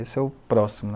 Esse é o próximo.